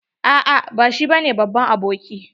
A'a ba shi bane babban aboki.